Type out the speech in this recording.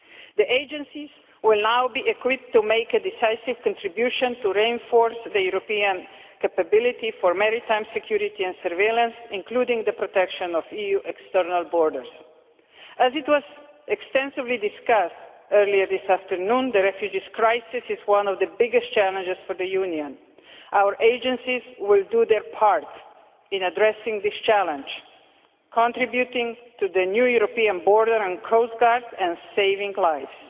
The agencies will now be equipped to make a decisive contribution to reinforcing European capability for maritime security and surveillance, including the protection of EU external borders. As was extensively discussed earlier this afternoon, the refugee crisis is one of the biggest challenges for the Union. Our agencies will do their part in addressing this challenge, contributing to the new European Border and Coast Guard and saving lives.